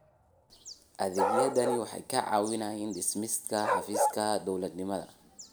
Adeegyadani waxay kaa caawinayaan dhimista xafiis-dawladnimada.